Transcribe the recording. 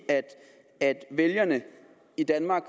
at vælgerne i danmark